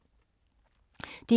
DR1